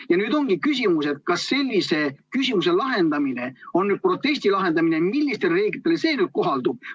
Ja nüüd ongi küsimus, kas sellise küsimuse lahendamine on protesti lahendamine ja millistele reeglitele see peab alluma.